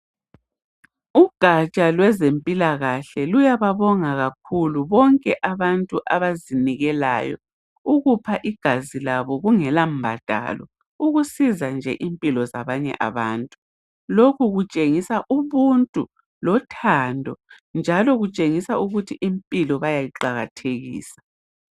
Ugatsha lowezempilakahle luyababonga kakhulu bonke abantu abazinikelayo ukupha igazi labo kungela mbadalo ukusiza nje impilo zabanye zabantu. Lokhu kutshengisa nje ubuntu lothando njalo kutshengisa ukuthi impilo bayayiqakathekisa.